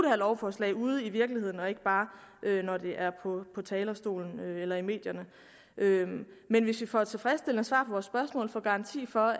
her lovforslag ude i virkeligheden og ikke bare på talerstolen eller i medierne men hvis vi får tilfredsstillende svar vores spørgsmål og får en garanti for